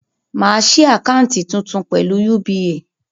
Màá ṣí àkáńtì tuntun pẹ̀lú UBA